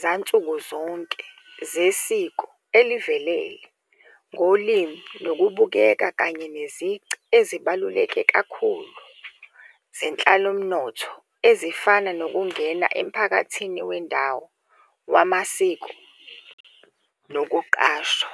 zansuku zonke zesiko elivelele ngolimi nokubukeka kanye nezici ezibaluleke kakhulu zenhlalomnotho ezifana, nokungena emphakathini wendawo wamasiko nokuqashwa.